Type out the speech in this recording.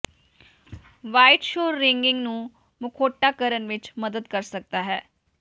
white ਸ਼ੋਰ ringing ਨੂੰ ਮਖੌਟਾ ਕਰਨ ਵਿੱਚ ਮਦਦ ਕਰ ਸਕਦਾ ਹੈ